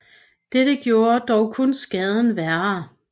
Dette gjorde dog kun skaden værre